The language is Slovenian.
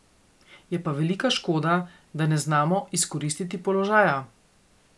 Je pa velika škoda, da ne znamo izkoristiti položaja.